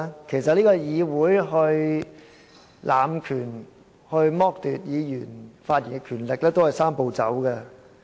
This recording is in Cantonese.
其實議會濫權，剝奪議員的發言權利，也是"三步走"。